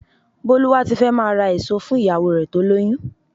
Bólúwátifẹ́ máa ra èso fún ìyàwó rẹ tó lóyún.